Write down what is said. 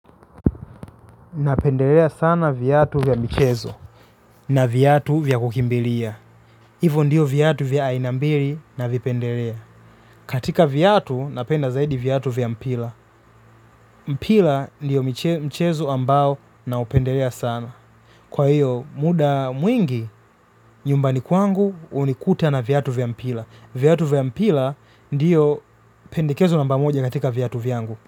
Napendelea sana viatu vya michezo na viatu vya kukimbilia. Hivo ndio viatu vya aina mbili navipendelea. Katika viatu napenda zaidi viatu vya mpira. Mpira ndio mchezo ambao naupendelea sana. Kwa hiyo muda mwingi nyumbani kwangu hunikuta na viatu vya mpira viatu vya mpila ndio pendekezo namba moja katika viatu vyangu.